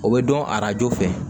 O bɛ dɔn arajo fɛ